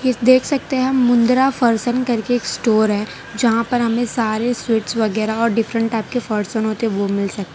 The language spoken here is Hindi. इसमें देख सकते है हम मुंद्रा फरसन करके एक स्टोर है जहां पर हमे सारे स्वीट्स वगेरह और डिफरेंट टाइप के फरसन होते हैं वो मिल सकते है।